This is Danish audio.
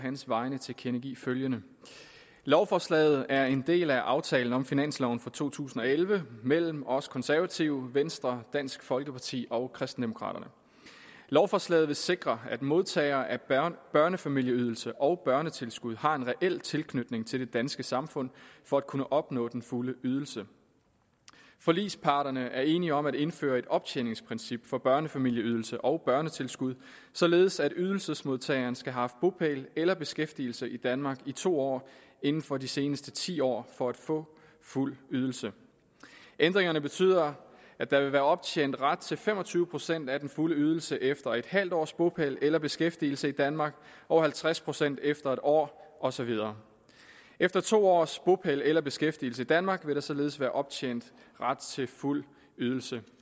hans vegne tilkendegive følgende lovforslaget er en del af aftalen om finansloven for to tusind og elleve mellem os konservative venstre dansk folkeparti og kristendemokraterne lovforslaget vil sikre at modtagere af børnefamilieydelse og børnetilskud har en reel tilknytning til det danske samfund for at kunne opnå den fulde ydelse forligsparterne er enige om at indføre et optjeningsprincip for børnefamilieydelsen og børnetilskuddet således at ydelsesmodtageren skal have haft bopæl eller beskæftigelse i danmark i to år inden for de seneste ti år for at få fuld ydelse ændringerne betyder at der vil være optjent ret til fem og tyve procent af den fulde ydelse efter en halv års bopæl eller beskæftigelse i danmark og halvtreds procent efter en år og så videre efter to års bopæl eller beskæftigelse i danmark vil der således være optjent ret til fuld ydelse